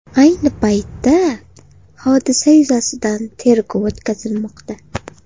Ayni paytda, hodisa yuzasidan tergov o‘tkazilmoqda.